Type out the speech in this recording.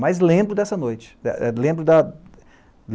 Mas lembro dessa noite. É lembro da